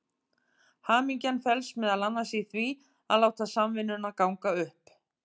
Hamingjan felst meðal annars í því að láta samvinnuna ganga upp.